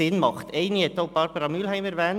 Einen davon hat auch Grossrätin Mühlheim erwähnt: